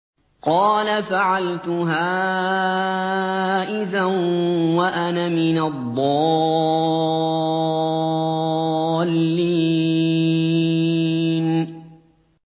قَالَ فَعَلْتُهَا إِذًا وَأَنَا مِنَ الضَّالِّينَ